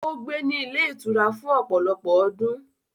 Ó gbé ní ilé-ìtura fún ọ̀pọ̀lọpọ̀ ọdún.